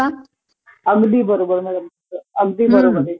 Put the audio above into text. अगदी बरोबर आहे, अगदी बरोबर आहे.